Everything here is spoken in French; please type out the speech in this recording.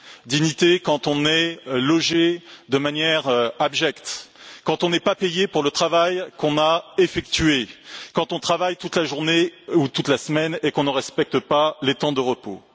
Dignité quand on est logé de manière abjecte, quand on n'est pas payé pour le travail qu'on a effectué, quand on travaille toute la journée ou toute la semaine et qu'on ne respecte pas les temps de repos.